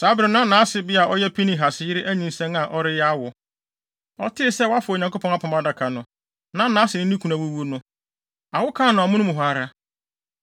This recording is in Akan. Saa bere no na nʼasebea a ɔyɛ Pinehas yere anyinsɛn a ɔreyɛ awo. Ɔtee sɛ wɔafa Onyankopɔn Apam Adaka no, na nʼase ne ne kunu awuwu no, awo kaa no amono mu hɔ ara.